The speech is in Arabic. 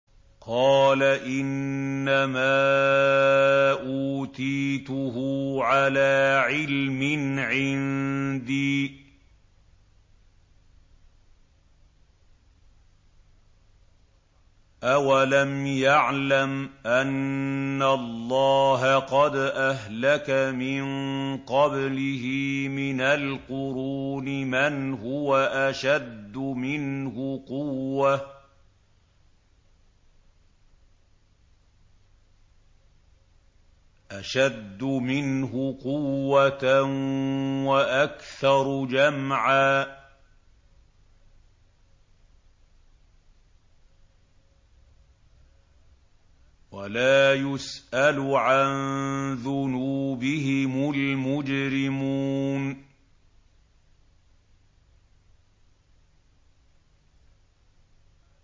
قَالَ إِنَّمَا أُوتِيتُهُ عَلَىٰ عِلْمٍ عِندِي ۚ أَوَلَمْ يَعْلَمْ أَنَّ اللَّهَ قَدْ أَهْلَكَ مِن قَبْلِهِ مِنَ الْقُرُونِ مَنْ هُوَ أَشَدُّ مِنْهُ قُوَّةً وَأَكْثَرُ جَمْعًا ۚ وَلَا يُسْأَلُ عَن ذُنُوبِهِمُ الْمُجْرِمُونَ